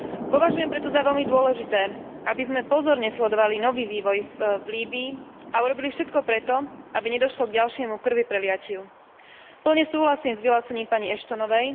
Považujem preto za veľmi dôležité, aby sme pozorne sledovali nový vývoj v Líbyi a urobili všetko preto, aby nedošlo k ďalšiemu krvipreliatiu. Plne súhlasím s vyhlásením pani Ashtonovej.